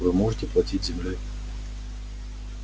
вы можете платить землёй